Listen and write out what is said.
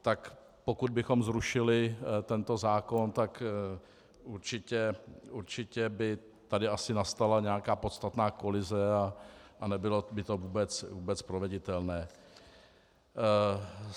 Tak pokud bychom zrušili tento zákon, tak určitě by tady asi nastala nějaká podstatná kolize a nebylo by to vůbec proveditelné.